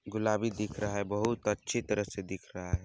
गुलाबी दिख रहा है बहुत अच्छी तरह से दिख रहा हैं।